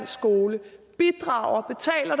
skole bidrager